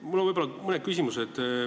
Mul on mõned küsimused.